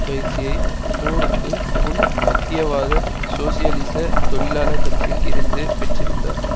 பயிற்சியை போருக்கு முன் மத்தியவாத சோசியலிச தொழிலாளர் கட்சியில் இருந்து பெற்றிருந்தார்